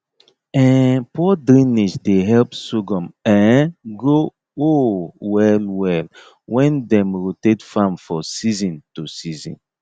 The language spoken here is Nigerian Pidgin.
um poor drainage dey help sorghum um grow um well well when dem rotate farm for season to season